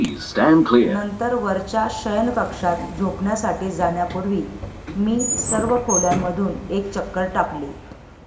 नंतर वरच्या शयनकक्षात झोपण्यासाठी जाण्यापूर्वी मी सर्व खोल्यांमधून एक चक्कर टाकली